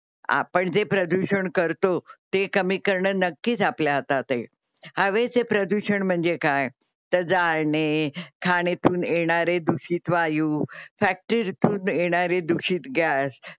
आपण जे प्रदूषण करतो ते कमी करण नक्कीच आपल्या हातात आहे. हवेचे प्रदूषण म्हणजे काय तर जाळणे खाणेतून येणारे दुषित वायू फॅक्ट्रीतून येणारे दुषित गॅस.